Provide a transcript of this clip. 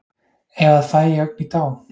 Ef að fæ ég ögn í tá